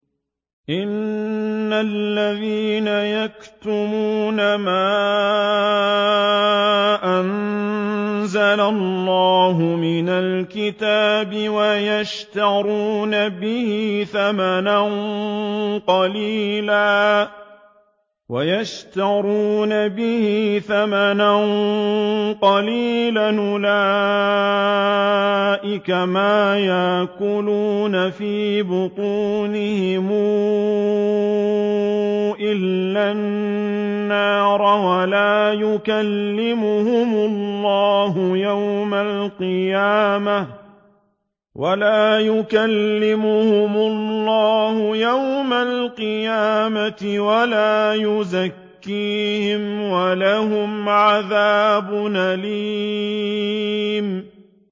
إِنَّ الَّذِينَ يَكْتُمُونَ مَا أَنزَلَ اللَّهُ مِنَ الْكِتَابِ وَيَشْتَرُونَ بِهِ ثَمَنًا قَلِيلًا ۙ أُولَٰئِكَ مَا يَأْكُلُونَ فِي بُطُونِهِمْ إِلَّا النَّارَ وَلَا يُكَلِّمُهُمُ اللَّهُ يَوْمَ الْقِيَامَةِ وَلَا يُزَكِّيهِمْ وَلَهُمْ عَذَابٌ أَلِيمٌ